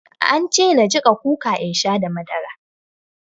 An ce na jiƙa kuka in sha da madara.